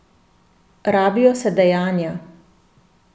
Rabijo se dejanja.